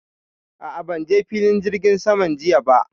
A'a, ban je filin jirgin saman jiya ba.